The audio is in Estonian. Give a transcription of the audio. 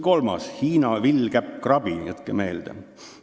Kolmandaks, Hiina villkäppkrabi – jätke meelde!